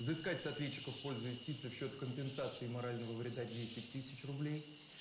взыскать с ответчика в пользу истицы в счёт компенсации морального вреда десять тысяч рублей